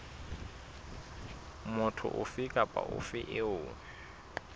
motho ofe kapa ofe eo